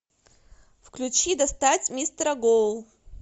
включи достать мистера гоу